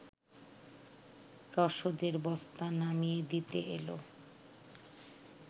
রসদের বস্তা নামিয়ে দিতে এল